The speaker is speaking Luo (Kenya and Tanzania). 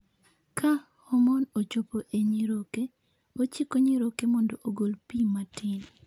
Ka hormone ochopo e nyiroke, ochiko nyiroke mondo ogol pi matin.